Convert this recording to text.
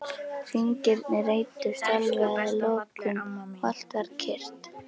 Hringirnir eyddust alveg að lokum og allt varð kyrrt.